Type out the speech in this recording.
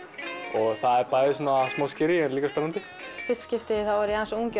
og það er bæði smá en líka spennandi í fyrsta skiptið var ég aðeins of ung